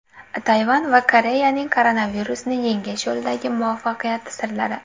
Tayvan va Koreyaning koronavirusni yengish yo‘lidagi muvaffaqiyati sirlari.